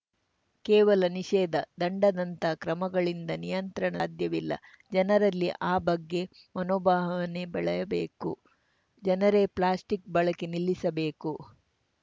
ಕೇವಲ ನಿಷೇಧ ದಂಡದಂತಹ ಕ್ರಮಗಳಿಂದ ನಿಯಂತ್ರಣ ಸಾಧ್ಯವಿಲ್ಲ ಜನರಲ್ಲಿ ಆ ಬಗ್ಗೆ ಮನೋಭಾವನೆ ಬೆಳೆಯಬೇಕು ಜನರೇ ಪ್ಲಾಸ್ಟಿಕ್‌ ಬಳಕೆ ನಿಲ್ಲಿಸಬೇಕು